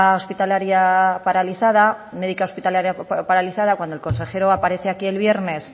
hospitalaria paralizada médica hospitalaria paralizada cuando el consejero aparece aquí el viernes